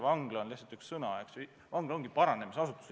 "Vangla" on lihtsalt üks sõna, eks ju, vangla on paranemisasutus.